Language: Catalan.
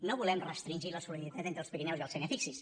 no volem restringir la solidaritat entre els pirineus i la sénia